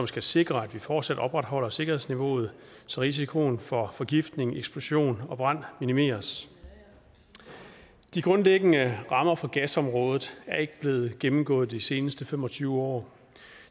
skal sikre at vi fortsat opretholder sikkerhedsniveauet så risikoen for forgiftning eksplosion og brand minimeres de grundlæggende rammer for gasområdet er ikke blevet gennemgået de seneste fem og tyve år